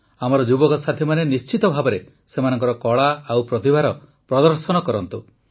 ଆମର ଯୁବକସାଥୀମାନେ ନିଶ୍ଚିତ ଭାବରେ ସେମାନଙ୍କର କଳା ଏବଂ ପ୍ରତିଭାର ପ୍ରଦର୍ଶନ କରନ୍ତୁ